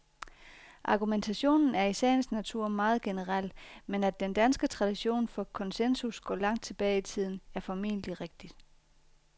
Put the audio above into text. Argumentationen er i sagens natur meget generel, men at den danske tradition for konsensus går langt tilbage i tiden, er formentlig rigtigt.